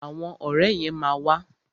Àwọn ọ̀rẹ́ yẹn ma wà.